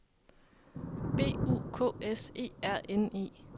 B U K S E R N E